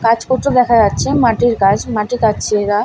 কাজ করতে দেখা যাচ্ছে মাটির কাজ মাটি কাটছে এরা ।